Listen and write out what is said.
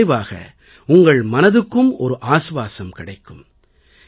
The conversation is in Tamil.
இதன் விளைவாக உங்கள் மனதுக்கும் இளைப்பாறுதல் கிடைக்கும்